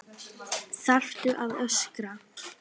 ÞARFTU AÐ ÖSKRA